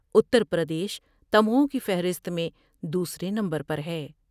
اتر پردیش تمغوں کی فہرست میں دوسرے نمبر پر ہے ۔